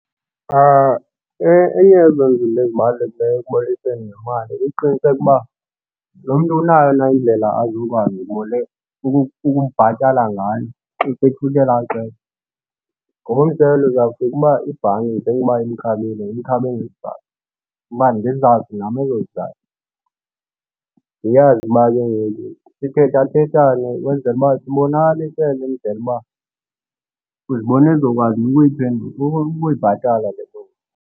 Enye yezo zinto ezibalulekileyo ekubolekiiseni ngemali kukuqiniseka uba lo mntu unayo na indlela azokwazi ukundibhatala ngayo xa sekufika ela xesha. Ngokomzekelo, izawufika uba ibhanki njengokuba imkhabile imkhabe ngezizathu. Uba ndizazi nam ezo zizathu, ndiyazi uba ke ngoku sithethathethane ukwenzela uba sibonakalisele indlela uba uzibona ezokwazi na ukubayibhatala le loan.